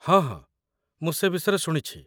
ହଁ ହଁ, ମୁଁ ସେ ବିଷୟରେ ଶୁଣିଛି